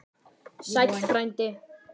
Sæll frændi!